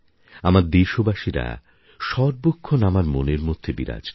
আমার দেশবাসীরা সর্বক্ষণ আমার মনের মধ্যে বিরাজ করে